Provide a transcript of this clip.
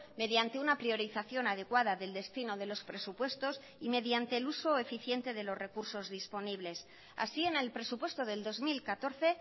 mediante una priorización adecuada del destino de los presupuestos y mediante el uso eficiente de los recursos disponibles así en el presupuesto del dos mil catorce